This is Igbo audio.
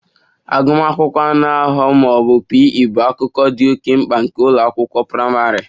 Agụmakwụkwọ anụ ahụ ma ọ bụ P. E bụ akụkụ dị oke mkpa nke ụlọ akwụkwọ praịmarị